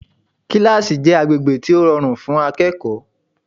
Kílásì jẹ́ agbègbè tó rọrùn fún ẹ̀kọ́